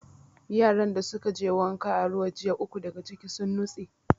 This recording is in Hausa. Yaran da suka je wanka a ruwa jiya, uku daga ciki sun nutse.